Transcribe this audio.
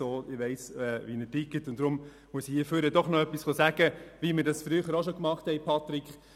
Ich weiss, wie er tickt, und deshalb muss ich doch noch etwas sagen, wie wir das früher auch schon gemacht haben.